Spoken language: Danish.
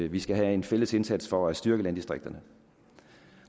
vi skal have en fælles indsats for at styrke landdistrikterne